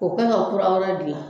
O ka ka kura wɛrɛ dilan